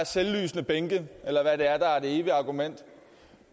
selvlysende bænke eller hvad det er der er det evige argument